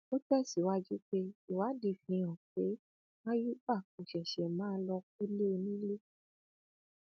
ó tẹsíwájú pé ìwádìí fìhàn pé àyùbá kò ṣẹṣẹ máa lọọ kọlé onílé